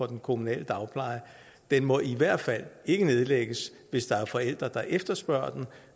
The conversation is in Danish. den kommunale dagpleje den må i hvert fald ikke nedlægges hvis der er forældre der efterspørger den